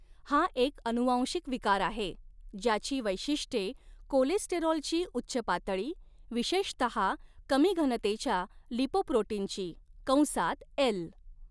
हा एक अनुवांशिक विकार आहे, ज्याची वैशिष्ट्ये कोलेस्टेरॉलची उच्च पातळी, विशेषतहा कमी घनतेच्या लिपोप्रोटीनची कंसात एल.